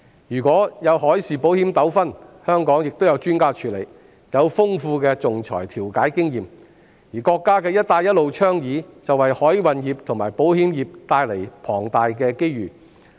如果出現海事保險糾紛，香港亦有專家處理，他們有豐富的仲裁調解經驗，而國家倡議的"一帶一路"建設，也為海運業和保險業帶來龐大機遇。